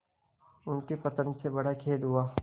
उनके पतन से बड़ा खेद हुआ